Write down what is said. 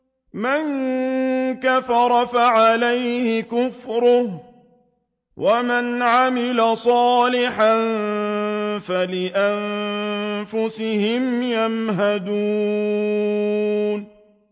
مَن كَفَرَ فَعَلَيْهِ كُفْرُهُ ۖ وَمَنْ عَمِلَ صَالِحًا فَلِأَنفُسِهِمْ يَمْهَدُونَ